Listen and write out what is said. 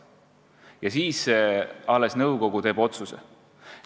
Ja alles nõukogu teeb lõppotsuse.